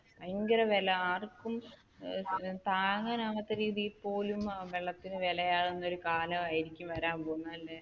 ഭയങ്കര വില ആർക്കും താങ്ങാൻ ആവാത്ത രീതിയിൽ പോലും വെള്ളത്തിന് വിലയാകുന്ന ഒരു കാലമായിരിക്കും ഇനി വരാൻ പോകുന്നത് അല്ലെ?